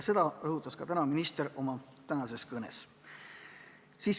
Seda rõhutas ka minister oma tänases kõnes.